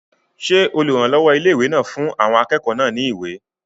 Ṣé olùrànlọ́wọ́ ilé-ìwé náà fún àwọn akẹ́kọ̀ọ́ náà ní ìwé?